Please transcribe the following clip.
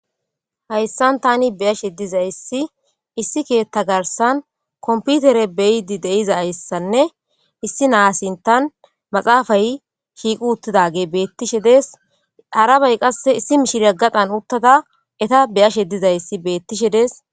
hayssan tani beyashe dizayssi issi keetta garsan komputere beyidi deiza ayssanne issi naasintan maxaafay shiiqu uttidage beettishe dees harabay qasse issi mishirya gadan uttada eta beyashe dizayssi beettishe dees